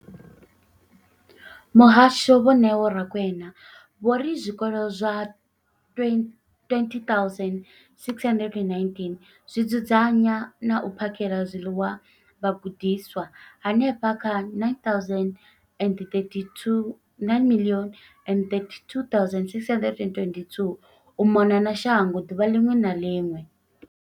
Muhasho, Vho Neo Rakwena, vho ri zwikolo zwa 20 619 zwi dzudzanya na u phakhela zwiḽiwa vhagudiswa vha henefha kha 9 032 622 u mona na shango ḓuvha ḽiṅwe na ḽiṅwe.